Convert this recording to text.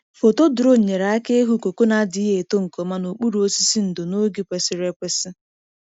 Foto drone nyere aka ịhụ koko na-adịghị eto nke ọma n’okpuru osisi ndo n’oge kwesịrị ekwesị.